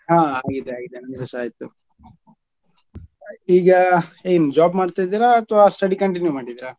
ಹಾ ಆಗಿದೆ ಆಗಿದೆ ನಮ್ದುಸ ಆಯ್ತು ಈಗ ಏನ್ job ಮಾಡ್ತಾ ಇದ್ದೀರಾ ಅತ್ವಾ study continue ಮಾಡಿದಿರಾ?